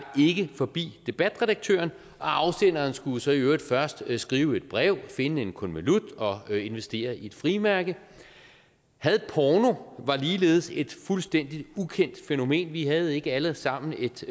ikke forbi debatredaktøren og afsenderen skulle jo så i øvrigt først skrive et brev finde en konvolut og investere i et frimærke hadporno var ligeledes et fuldstændig ukendt fænomen vi havde ikke alle sammen et